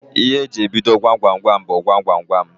Ihe eji ebido Gwam Gwam Gwam bụ "Gwam Gwam Gwam"